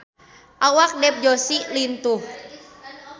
Awak Dev Joshi lintuh